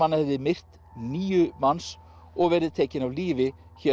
hann hefði myrt níu manns og verið tekinn af lífi hér